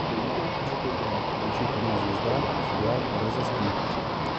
включи канал звезда сериал розыскник